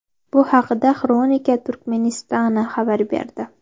Bu haqda ”Xronika Turkmenistana” xabar berdi .